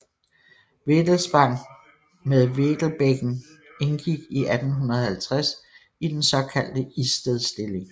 Vedelspang med Vedelbækken indgik i 1850 i den såkaldte Istedstilling